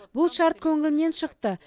бұл шарт көңілімнен шықты